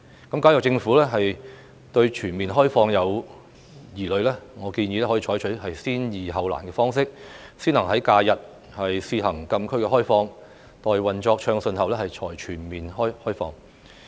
如果政府對全面開放有疑慮，我建議可採取先易後難的方式，先行在假日試行禁區開放，待運作暢順後才全面開放。